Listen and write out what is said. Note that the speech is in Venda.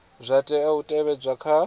zwa tea u tevhedzwa kha